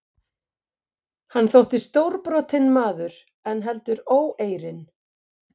Hann þótti stórbrotinn maður en heldur óeirinn.